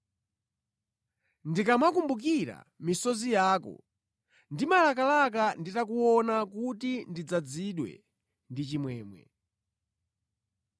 Ndikamakumbukira misozi yako, ndimalakalaka nditakuona kuti ndidzazidwe ndi chimwemwe.